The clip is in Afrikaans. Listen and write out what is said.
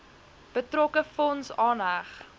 betrokke fonds aanheg